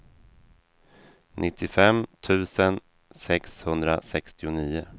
nittiofem tusen sexhundrasextionio